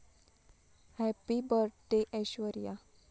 happy birthday Aishwarya...